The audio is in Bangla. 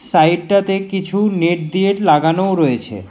সাইডটাতে কিছু নেট দিয়েট লাগানোও রয়েছে।